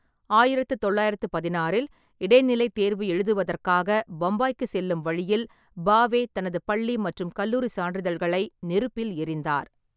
ஆயிரத்து தொள்ளாயிரத்து பதினாறில் இடைநிலைத் தேர்வு எழுதுவதற்காக பம்பாய்க்கு செல்லும் வழியில், பாவே தனது பள்ளி மற்றும் கல்லூரி சான்றிதழ்களை நெருப்பில் எறிந்தார்.